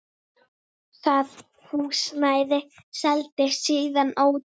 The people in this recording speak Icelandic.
Það húsnæði seldist síðan ódýrt.